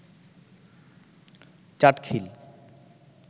Chatkhil